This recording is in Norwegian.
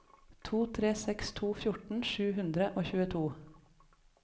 to tre seks to fjorten sju hundre og tjueto